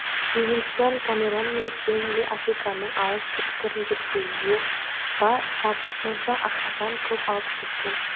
ливингстон камерон мен стенли африканың алыс түкпірін зерттеуге ба жатып моншақ ақшадан көп алып кеткен